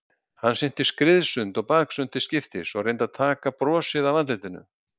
Hann synti skriðsund og baksund til skiptis og reyndi að taka brosið af andlitinu.